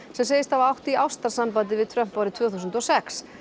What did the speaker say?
sem segist hafa átt í ástarsambandi við Trump árið tvö þúsund og sex